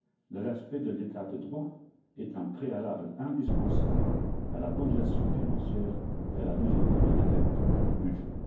Le respect de l'état de droit est un préalable indispensable à la bonne gestion financière et à la mise en œuvre effective du budget.